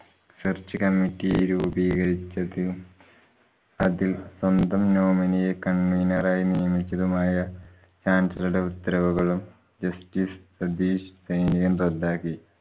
search committee യെ രൂപീകരിച്ചതിന് അതില്‍ സ്വന്തം nominee യെ convenor ആയി നിയമിച്ചതുമായ chancellor റുടെ ഉത്തരവുകളും justic സതിഷ് റദ്ദാക്കി.